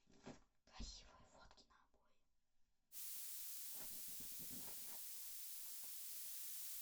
красивые фотки на обои